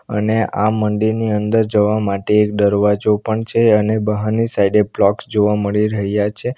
અને આ મંદિરની અંદર જવા માટે એક દરવાજો પણ છે અને બહારની સાઈડે પ્લોટ્સ જોવા મળી રહ્યા છે.